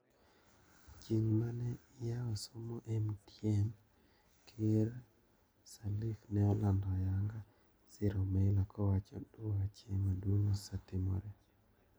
Chieng mane iyao somo MTM,Ker sirleaf ne olando ayanga siro Meyler kowacho dwache maduong osetimore.